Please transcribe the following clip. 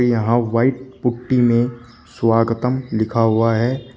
यहां white putty में स्वागतम लिखा हुआ है।